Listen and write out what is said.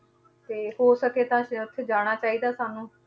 ਤੇ ਹੋ ਸਕੇ ਤਾਂ ਤੇ ਉੱਥੇ ਜਾਣਾ ਚਾਹੀਦਾ ਸਾਨੂੰ।